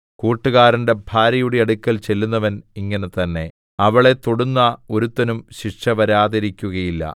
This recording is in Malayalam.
കൂട്ടുകാരന്റെ ഭാര്യയുടെ അടുക്കൽ ചെല്ലുന്നവൻ ഇങ്ങനെതന്നെ അവളെ തൊടുന്ന ഒരുത്തനും ശിക്ഷ വരാതെയിരിക്കുകയില്ല